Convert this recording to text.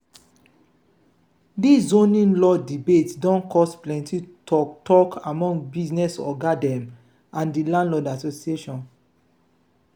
dis zoning law debate don cause plenty talk talk among business oga dem and di landlord association.